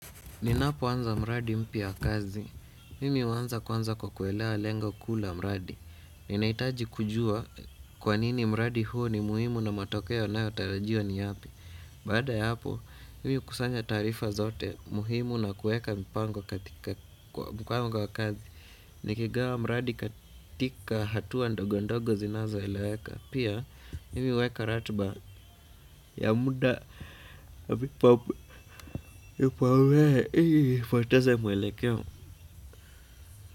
Ninapoanza mradi mpya wa kazi, mimi huanza kwanza kwa kuelea lengo kuu la mradi. Ninahitaji kujua kwa nini mradi huo ni muhimu na matokeo yanayotarajiwa ni yapi baada ya hapo mimi hukusanya taarifa zote muhimu na kueka mipango katika mipango ya kazi nikigawa mradi katika hatua ndogo ndogo zinazoeleweka pia mimi huweka ratiba ya muda na vipaombele ili nisipoteze mwelekeo.